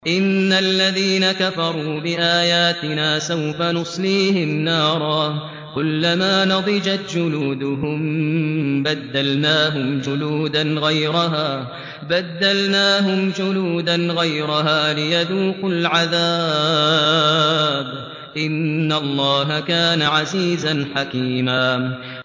إِنَّ الَّذِينَ كَفَرُوا بِآيَاتِنَا سَوْفَ نُصْلِيهِمْ نَارًا كُلَّمَا نَضِجَتْ جُلُودُهُم بَدَّلْنَاهُمْ جُلُودًا غَيْرَهَا لِيَذُوقُوا الْعَذَابَ ۗ إِنَّ اللَّهَ كَانَ عَزِيزًا حَكِيمًا